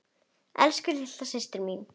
Elsku litla systir mín.